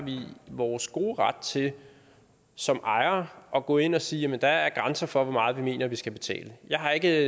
vores gode ret til som ejere at gå ind og sige at der er grænser for hvor meget vi mener vi skal betale jeg har ikke